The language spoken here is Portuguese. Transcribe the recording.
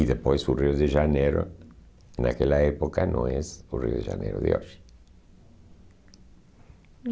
E depois o Rio de Janeiro, naquela época, não és o Rio de Janeiro de hoje.